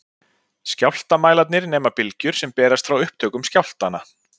Skjálftamælarnir nema bylgjur sem berast frá upptökum skjálftanna.